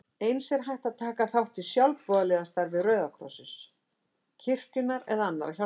Eins er hægt að taka þátt í sjálfboðaliðastarfi Rauða krossins, kirkjunnar eða annarra hjálparsamtaka.